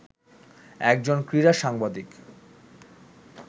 একজন ক্রীড়া সাংবাদিক